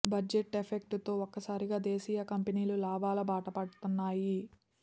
budget effect తో ఒక్కసారిగా దేశీయ కంపెనీలు లాభాల బాటపడుతన్నాయి